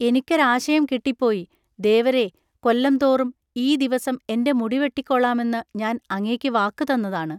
എനിക്കൊരാശയം കിട്ടിപ്പോയി. ദേവരേ, കൊല്ലംതോറും ഈ ദിവസം എൻ്റെ മുടിവെട്ടിക്കോളാമെന്ന് ഞാൻ അങ്ങേക്ക് വാക്ക് തന്നതാണ്.